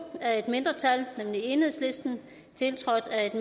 af et mindretal tiltrådt af et